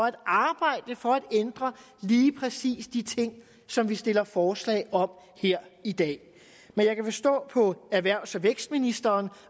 at arbejde for at ændre lige præcis de ting som vi stiller forslag om her i dag men jeg kan forstå på erhvervs og vækstministeren